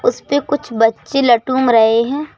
उस पे कुछ बच्चे लटूम रहे हैं।